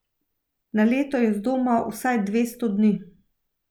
Na leto je zdoma vsaj dvesto dni.